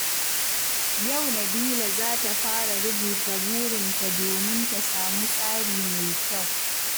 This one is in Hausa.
Yau Nabila za ta fara rubuta burinta domin ta samu tsari mai kyau.